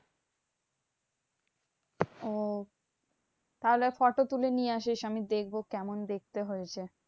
ওহ তাহলে photo তুলে নিয়ে আসিস। আমি দেখবো কেমন দেখতে হয়েছে?